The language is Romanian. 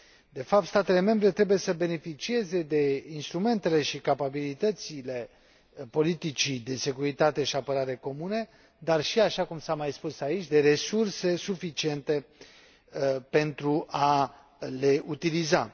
De fapt, statele membre trebuie să beneficieze de instrumentele și capabilitățile politicii de securitate și apărare comune, dar și, așa cum s a mai spus aici, de resurse suficiente pentru a le utiliza.